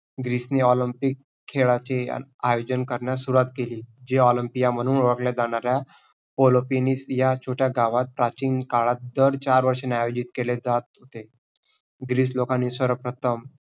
Greek ने olympic खेळाचे आयोजन करण्यास सुरुवात केली. जे olympia म्हणून ओळखलेजाणाऱ्या olympinus या छोट्या गावात प्राचीन काळात दर चार वर्षानी आयोजित केले जात होते. ग्रीक लोकांनी सर्वप्रथम